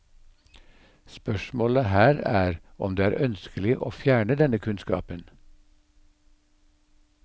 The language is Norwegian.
Spørsmålet her er om det er ønskelig å fjerne denne kunnskapen.